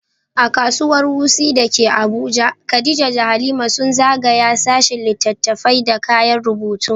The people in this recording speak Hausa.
A Kasuwar Wuse da ke Abuja, Khadija da Halima sun zagaya sashin littattafai da kayan rubutu.